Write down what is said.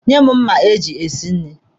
Nye m mma eji esi nri!